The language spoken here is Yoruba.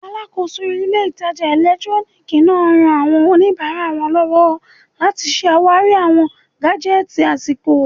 Alàkóso ilé ìtajà ẹ̀lẹ́túróníìkì náà ran àwọn oníbàárà lọ́wọ́ láti ṣe àwárí awọn gájẹ́tìì àsìkò